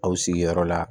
Aw sigiyɔrɔ la